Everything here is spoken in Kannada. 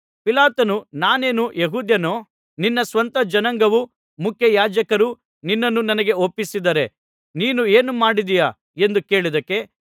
ಪಿಲಾತನು ನಾನೇನು ಯೆಹೂದ್ಯನೋ ನಿನ್ನ ಸ್ವಂತ ಜನಾಂಗವೂ ಮುಖ್ಯಯಾಜಕರೂ ನಿನ್ನನ್ನು ನನಗೆ ಒಪ್ಪಿಸಿದ್ದಾರೆ ನೀನು ಏನು ಮಾಡಿದ್ದೀಯಾ ಎಂದು ಕೇಳಿದ್ದಕ್ಕೆ